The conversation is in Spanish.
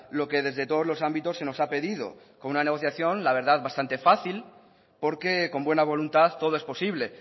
lo que desde todos los ámbitos se nos ha pedido con una negociación la verdad bastante fácil porque con buena voluntad todo es posible